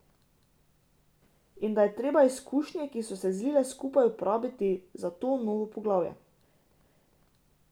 In da je treba izkušnje, ki so se zlile skupaj, uporabiti za to novo poglavje.